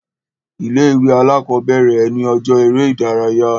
Ilé ìwé alákọ̀bẹ̀rẹ̀ ni ọjọ́ eré ìdárayá.